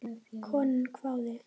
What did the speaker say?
Konan hváði.